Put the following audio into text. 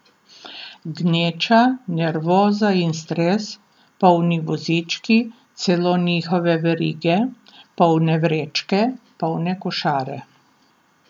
Gneča, nervoza in stres, polni vozički, celo njihove verige, polne vrečke, polne košare.